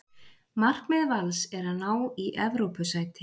Markmið Vals er að ná í Evrópusæti.